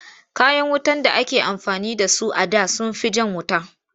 Kayan wutar da ake amfani da su da sun fi jan wuta.